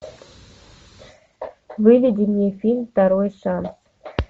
выведи мне фильм второй шанс